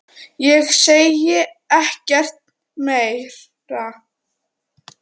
Ég segi ekkert meira.